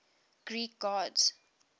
greek gods